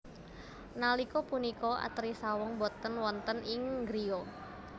Nalika punika Atri saweg boten wonten ing griya